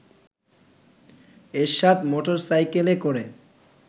এরশাদ মোটরসাইকেলে করে